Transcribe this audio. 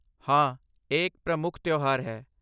ਹਾਂ, ਇਹ ਇੱਕ ਪ੍ਰਮੁੱਖ ਤਿਉਹਾਰ ਹੈ